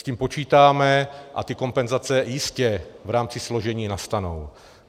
S tím počítáme a ty kompenzace jistě v rámci složení nastanou.